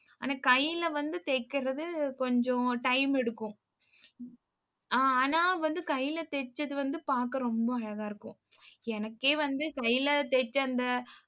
ஆனா கையில வந்து தைக்கிறது கொஞ்சம் time எடுக்கும். ஆனா வந்து கையில தைச்சது வந்து பார்க்க ரொம்ப அழகா இருக்கும் எனக்கே வந்து, கையில தைச்ச அந்த